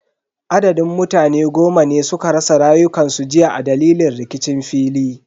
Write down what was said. Adadin mutane goma ne suka rasa rayukansu jiya a dalilin rikicin fili.